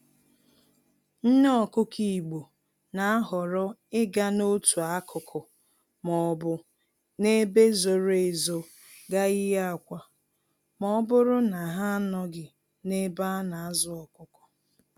Nné Ọkụkọ Igbo n'ahọrọ ịga n'otu akụkụ m'obu n'ebe zoro ezo gaa yie akwa, mọbụrụ na ha anọghị n'ebe anazụ ọkụkọ